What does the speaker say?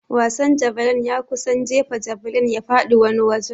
Wasan javeline ya kunsa jefa javeline ya faɗi wani wajen.